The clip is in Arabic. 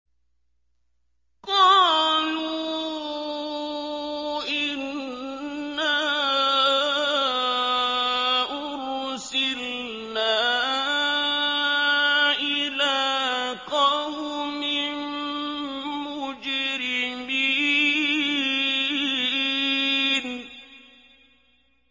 قَالُوا إِنَّا أُرْسِلْنَا إِلَىٰ قَوْمٍ مُّجْرِمِينَ